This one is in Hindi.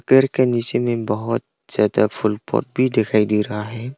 पेड़ के नीचे में बहुत ज्यादा फुल पत्ती दिखाई दे रहा है।